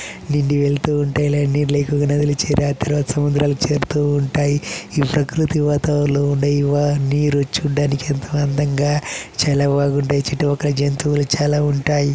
నింగి వెళ్తూ ఉంటే ఈ నదులు సముద్రాలు చేరుతూ ఉంటాయి. ఈ ప్రకృతి వాతావరణంలో ఉండే వారిని మీరు చూడడానికి ఎంతో అందంగా చాలా బాగుంటాయి. చుట్టు పక్కల జంతువులు చాలా ఉంటాయి.